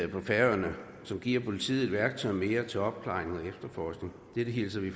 på færøerne som giver politiet et værktøj mere til opklaring og efterforskning dette hilser vi